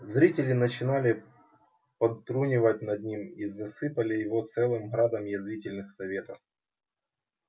зрители начинали подтрунивать над ним и засыпали его целым градом язвительных советов